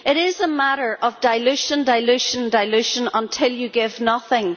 It is a matter of dilution, dilution, dilution, until you give nothing.